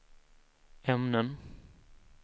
ämnen